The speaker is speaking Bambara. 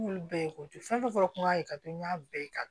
N y'olu bɛɛ ko fɛn fɛn fɔ n kun y'a ye ka to n y'a bɛɛ ye